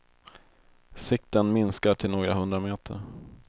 Sikten minskar till några hundra meter.